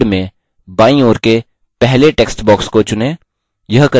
slide में बायीं ओर के पहले text box को चुनें